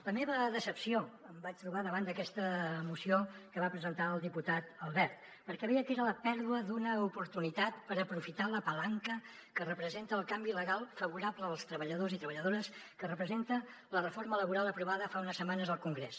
la meva decepció em vaig trobar davant d’aquesta moció que va presentar el diputat albert perquè veia que era la pèrdua d’una oportunitat per aprofitar la palanca que representa el canvi legal favorable als treballadors i treballadores que representa la reforma laboral aprovada fa unes setmanes al congrés